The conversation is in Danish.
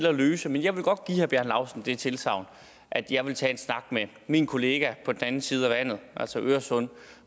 at løse men jeg vil godt give herre bjarne laustsen det tilsagn at jeg vil tage en snak med min kollega på den anden side af vandet altså øresund